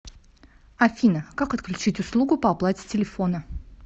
афина как отключить услугу по оплате телефона